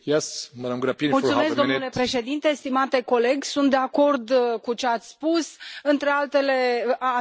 Stimate coleg, sunt de